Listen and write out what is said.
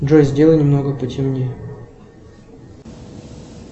джой сделай немного потемнее